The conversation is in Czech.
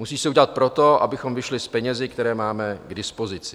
Musí se udělat proto, abychom vyšli s penězi, které máme k dispozici.